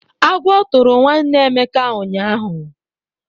Agwọ tụrụ nwanne Emeka ụnyaahụ.